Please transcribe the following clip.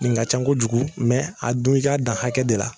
Nin ka ca kojugu mɛ a dun i k'a dan hakɛ de la